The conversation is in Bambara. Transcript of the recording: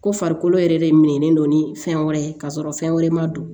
Ko farikolo yɛrɛ de minnen don ni fɛn wɛrɛ ye ka sɔrɔ fɛn wɛrɛ ma don